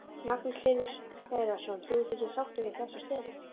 Magnús Hlynur Hreiðarsson: Þú ert ekki sáttur við þessa stöðu?